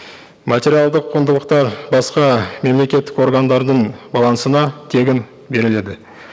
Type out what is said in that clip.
материалдық құндылықтар басқа мемлекеттік органдардың балансына тегін беріледі